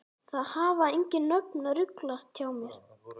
Það hafa engin nöfn ruglast hjá mér.